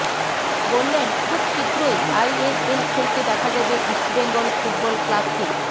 বললেন খুব শীঘ্রই আইএসএল খেলতে দেখা যাবে ইষ্টবেঙ্গল ফুটবল ক্লাবকে